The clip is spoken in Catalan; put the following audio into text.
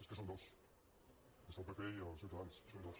és que són dos és al pp i a ciutadans són dos